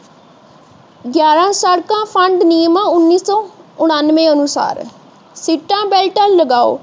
ਗਿਆਰਾਂ ਸੜਕਾਂ ਫੰਡ ਨਿਯਮਾਂ ਉਨੀ ਸੋ ਉਣਾਂਵੇ ਅਨੁਸਾਰ ਸਿੱਟਾ ਬੈਲਟਾਂ ਲਗਾਓ